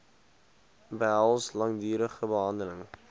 behels langdurige behandeling